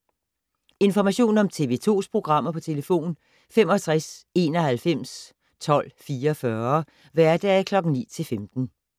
Information om TV 2's programmer: 65 91 12 44, hverdage 9-15.